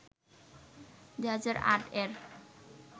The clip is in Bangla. ২০০৮-এর